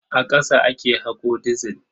A ƙasa ake haƙo dizil.